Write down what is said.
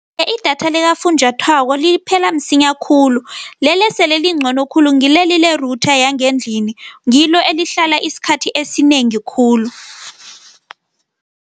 Idatha likafunjathwako liphela msinya khulu. Leli esele elingcono khulu ngileli le-router yangendlini, ngilo elihlala isikhathi esinengi khulu